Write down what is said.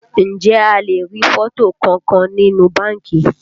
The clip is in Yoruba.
Ǹjẹ́ a lè rí fọ́tò kankan nínú báńkì?